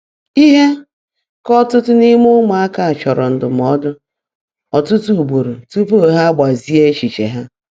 Ihe ka ọtụtụ n’ime ụmụaka chọrọ ndụmọdụ ọtụtụ ugboro tupu ha agbazie echiche ha.